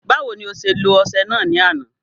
Báwo ni o ṣe lo ọṣẹ náà ní àná